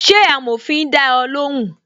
Ṣé amòfin da ẹ lóhùn?